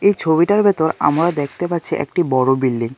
এই ছবিটার ভেতর আমরা দেখতে পাচ্ছি একটি বড় বিল্ডিং .